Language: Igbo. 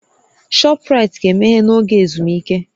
Shọpraịtị ga-emeghe n'oge ezumike